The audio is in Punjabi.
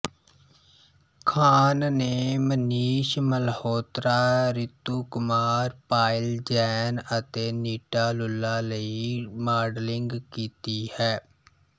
ਖਾਨ ਨੇ ਮਨੀਸ਼ ਮਲਹੋਤਰਾ ਰਿਤੂ ਕੁਮਾਰ ਪਾਇਲ ਜੈਨ ਅਤੇ ਨੀਟਾ ਲੁੱਲਾ ਲਈ ਮਾਡਲਿੰਗ ਕੀਤੀ ਹੈ